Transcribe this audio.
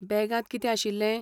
बॅगांत कितें आशिल्लें?